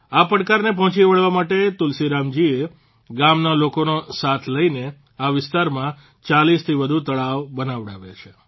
આ પડકારને પહોંચી વળવા માટે તુલસીરામજીએ ગામના લોકોનો સાથ લઇને આ વિસ્તારમાં ૪૦થી વધુ તળાવ બનાવડાવ્યા છે